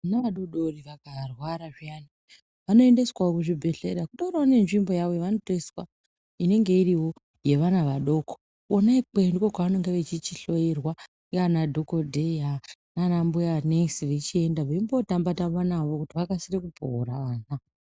Vana vadodori vakarwara zviyani vanoendeswawo kuzvibhedhlera, kutoriwo nenzvimbo yavo yevanotoiswa inenge iriwo yevana vadoko. Kona ikweyo ndiko kwevanenge vachihloyiwa nanadhogodheya nanambuyanesi veimbotamba-tamba navo kuti vakasire kupora vana.